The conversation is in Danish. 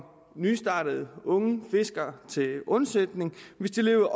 nystartede unge fiskere til undsætning hvis de lever